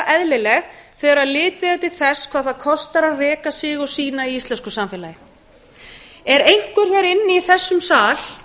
eðlileg þegar litið er til þess hvað það kostar að reka sig og sína í íslensku samfélagi er einhver hér inni í þessum sal